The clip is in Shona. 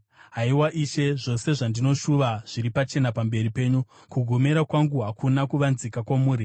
Haiwa Ishe, zvose zvandinoshuva zviri pachena pamberi penyu, kugomera kwangu hakuna kuvanzika kwamuri.